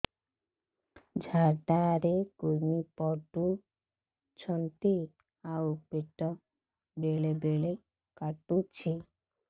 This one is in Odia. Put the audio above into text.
ଝାଡା ରେ କୁର୍ମି ପଡୁଛନ୍ତି ଆଉ ପେଟ ବେଳେ ବେଳେ କାଟୁଛି